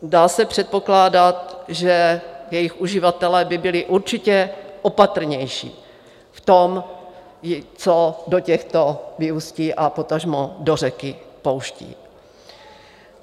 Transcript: Dá se předpokládat, že jejich uživatelé by byli určitě opatrnější v tom, co do těchto vyústí a potažmo do řeky pouštějí.